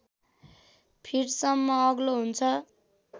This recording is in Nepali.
फिटसम्म अग्लो हुन्छ